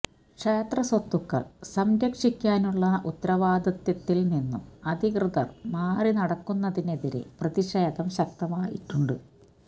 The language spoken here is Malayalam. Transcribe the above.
ക്ഷേത്ര സ്വത്തുക്കള് സംരക്ഷിക്കാനുള്ള ഉത്തരവാദിത്വത്തില് നിന്നും അധികൃതര് മാറി നടക്കുന്നതിനെതിരെ പ്രതിഷേധം ശക്തമായിട്ടുണ്ട്